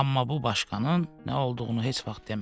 Amma bu başqanın nə olduğunu heç vaxt demədi.